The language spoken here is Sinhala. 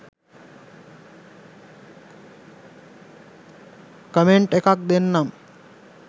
කමෙන්ට් එකක් දෙන්නම්.